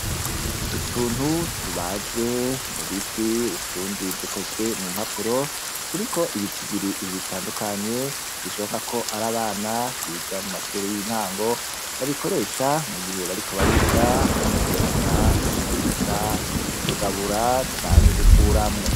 Utuntu tubaje mu biti, utundi dukozwe mu mpapuro turiko ibitigiri bitandukanye bishoboka ko ari abana biga mu mashure y'intango. Babikoresha mu gihe bariko bariga guteranya, kugwiza, kugabura canke gukuramwo.